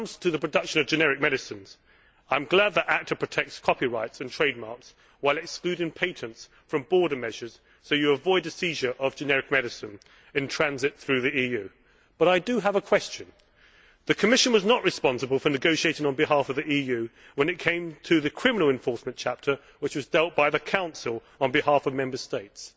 When it comes to the production of generic medicines, I am glad that ACTA protects copyrights and trademarks while excluding patents from border measures, so you avoid the seizure of generic medicine in transit through the EU. But I do have a question since the Commission was not responsible for negotiating on behalf of the EU when it came to the criminal enforcement chapter which was dealt with by the Council on behalf of Member States.